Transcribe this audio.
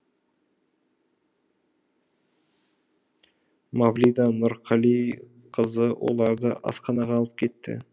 мавлида нұрғалиқызы оларды асханаға алып кетті